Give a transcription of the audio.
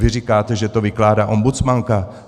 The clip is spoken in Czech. Vy říkáte, že to vykládá ombudsmanka.